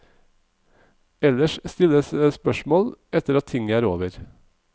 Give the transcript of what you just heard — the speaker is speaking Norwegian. Ellers stilles spørsmål etter at tinget er over.